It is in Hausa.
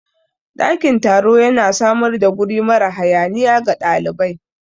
Ɗakin taro yana samar da guri mara hayaniya ga ɗalibai